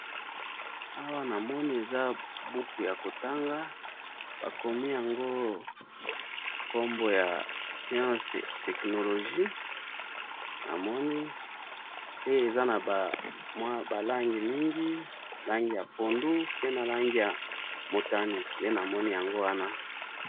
Awa namoni eza buku yako tanga, bakomi yango kombo ya science technologie, namoni pe eza naba langi mingi, langi ya pondu pe na langi ya motani, nde namoni yango wana.